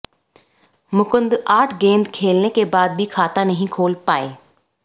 मुकुंद आठ गेंद खेलने के बाद भी खाता नहीं खोल पाए